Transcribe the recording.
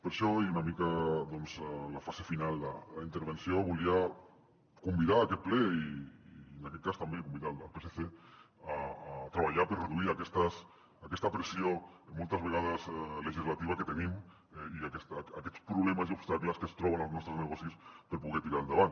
per això i una mica doncs a la fase final de la intervenció volia convidar aquest ple i en aquest cas també convidar el psc a treballar per reduir aquesta pressió moltes vegades legislativa que tenim i aquests problemes i obstacles que es troben els nostres negocis per poder tirar endavant